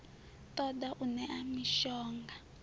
ṱo ḓa u ṋea mishonga